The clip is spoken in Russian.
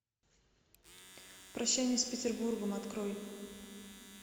прощание с петербургом открой